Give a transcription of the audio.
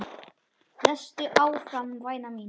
Lestu áfram væna mín!